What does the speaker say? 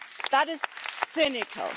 That is cynical.